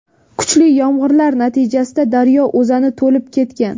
Kuchli yomg‘irlar natijasida daryo o‘zani to‘lib ketgan.